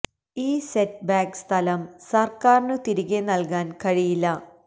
ഈ setback സ്ഥലം സർക്കാരിനു തിരികെ നൽകാൻ കഴിയില്ല